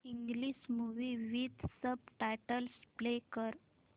English movie with subtitles play कर